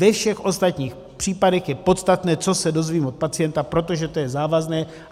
Ve všech ostatních případech je podstatné, co se dozvím od pacienta, protože to je závazné.